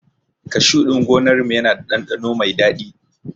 Kashu ɗin gonar mu yana da ɗanɗano mai dadi